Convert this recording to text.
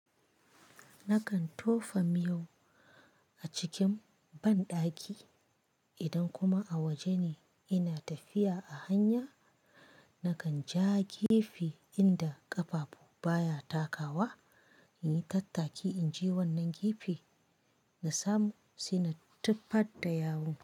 Nakan tofa miyau a cikin banɗaki idan kuma a waje ne ina tafiya a hanya nakan je jefe inda ƙafafu baya takawa in yi tattaki in je wannan jefe na samu sai na tufar da yawu.